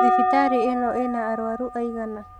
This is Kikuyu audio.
Thibitarĩ ĩno ina arũaru aigana?.